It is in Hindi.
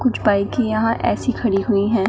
कुछ बाइके यहां ऐसी खड़ी हुई है।